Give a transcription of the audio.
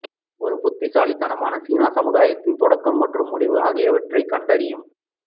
ஒரு புத்திசாலித்தனமான சீன சமுதாயத்தின் தொடக்கம் மற்றும் முடிவு ஆகியவற்றைக் கண்டறியவும்